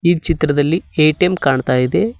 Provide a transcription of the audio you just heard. ಈ ಚಿತ್ರದಲ್ಲಿ ಎ_ಟಿ_ಎಂ ಕಾಣ್ತಾ ಇದೆ.